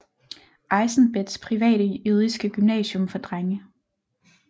Eizenbets private jødiske gymnasium for drenge